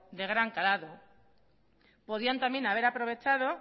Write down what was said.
de gran calado podían también haber aprovechado